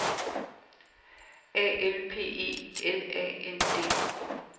A L P E L A N D